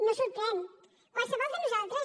no ens sorprèn qualsevol de nosaltres